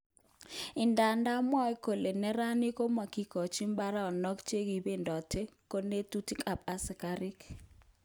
Idadan mwoe kole neranik komokikochin baronok chekibedoten konetutik kap asikarik.